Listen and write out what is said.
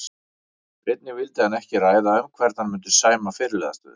Einnig vildi hann ekki ræða um hvern hann myndi sæma fyrirliðastöðunni.